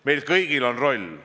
Meil kõigil on selles roll.